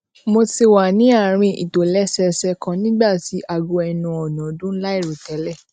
mo ti wà ní àárín ìtòlésẹẹsẹ kan nígbà tí aago ẹnu ọ̀nà dún láìròtélè